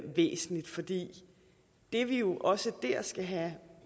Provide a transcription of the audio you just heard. væsentlig fordi det vi jo også der skal have